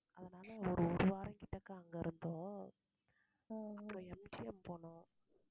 அதனால ஒரு ஒரு வாரம்கிட்டக்க அங்க இருந்தோம் அப்பறம் MGM போனோம்.